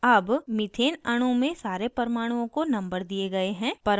all methane अणु में सारे परमाणुओं को numbered दिए all हैं